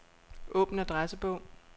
Åbn adressebog.